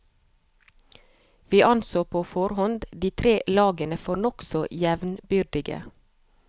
Vi anså på forhånd de tre lagene for nokså jevnbyrdige.